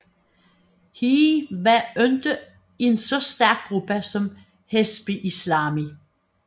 HII var ikke en så stærk gruppe som Hezbi Islami